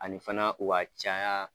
A ni fana o ka caya.